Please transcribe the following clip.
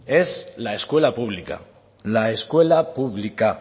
la escuela pública